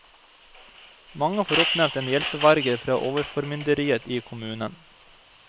Mange får oppnevnt en hjelpeverge fra overformynderiet i kommunen.